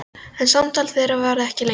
En samtal þeirra varð ekki lengra.